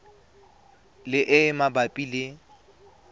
le e e mabapi le